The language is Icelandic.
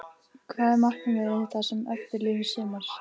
Hvað er markmiðið það sem eftir lifir sumars?